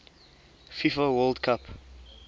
fifa world cup